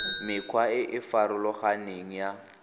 mekgwa e e farologaneng ya